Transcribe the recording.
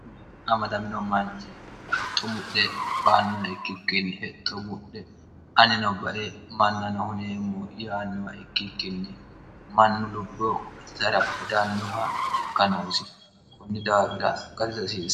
amadamino manchi hexxo mudhe baannowa ikkikkinni hexxo mudhe anino ba're mannano huneemmu yaannowa ikkikkinni mannu lubbo wetijara hedannoha jikkanoosi kunni daagira garisasiie